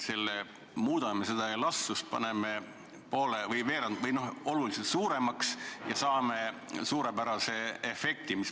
Kasutame seda elastsust, paneme aktsiisi poole suuremaks või vähemalt oluliselt suuremaks, ja saame suurepärase efekti.